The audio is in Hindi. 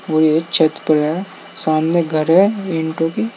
पूरे छत पर है सामने घर है एंटो के--